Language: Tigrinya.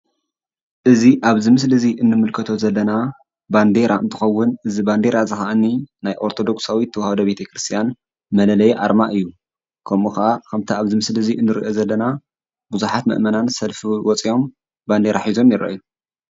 እዚ ኣብዚ ምስሊ እዚ እንምልከቶ ዘለና ባንዴራ እንትኸውን እዚ ባንዴራ ኸዓኒ ናይ ኦርቶዶክሳዊት ተዋህዶ ቤተክርስትያን መለለይ ኣርማ እዩ ።ከምኡ ከዓ ከምቲ ኣብዚ ምስሊ ዚ እንሪኦ ዘለና ብዙሓት መእመናት ሰልፊ ወፂኦም ባንዴራ ሒዞም ይረአዩ ።